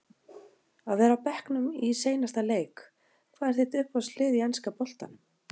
að vera á bekknum í seinasta leik Hvað er þitt uppáhalds lið í enska boltanum?